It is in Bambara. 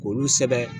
K'olu sɛbɛn